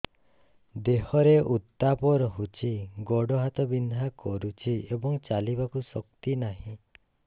ଦେହରେ ଉତାପ ରହୁଛି ଗୋଡ଼ ହାତ ବିନ୍ଧା କରୁଛି ଏବଂ ଚାଲିବାକୁ ଶକ୍ତି ନାହିଁ